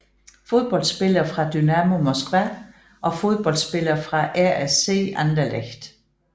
Fodboldspillere fra Dynamo Moskva Fodboldspillere fra RSC Anderlecht